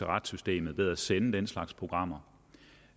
retssystemet ved at sende den slags programmer